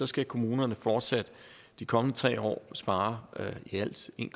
skal kommunerne fortsat de kommende tre år spare i alt en